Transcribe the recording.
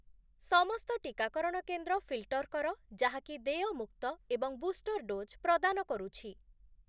ସମସ୍ତ ଟିକାକରଣ କେନ୍ଦ୍ର ଫିଲ୍‌ଟର୍ କର ଯାହାକି ଦେୟମୁକ୍ତ ଏବଂ ବୁଷ୍ଟର୍ ଡୋଜ୍‌ ପ୍ରଦାନ କରୁଛି ।